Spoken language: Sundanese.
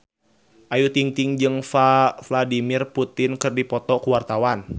Ayu Ting-ting jeung Vladimir Putin keur dipoto ku wartawan